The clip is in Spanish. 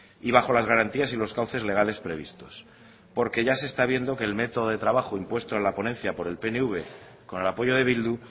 y bajo las garantías y los cauces legales previstos porque ya se está viendo que el método de trabajo impuesto en la ponencia por el pnv con el apoyo de bildu